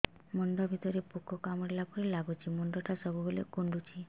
ମୁଣ୍ଡ ଭିତରେ ପୁକ କାମୁଡ଼ିଲା ପରି ଲାଗୁଛି ମୁଣ୍ଡ ଟା ସବୁବେଳେ କୁଣ୍ଡୁଚି